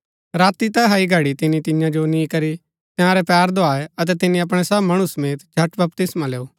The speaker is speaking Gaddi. राती तैहा ही घड़ी तिनी तियां जो नि करी तंयारै पैर धुआये अतै तिनी अपणै सब मणु समेत झट बपतिस्मा लैऊ